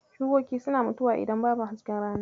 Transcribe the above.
Shukoki suna mutuwa idan babu hasken rana.